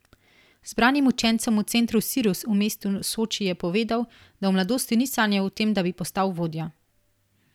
Zbranim učencem v centru Sirus v mestu Soči je povedal, da v mladosti ni sanjal o tem, da bi postal vodja.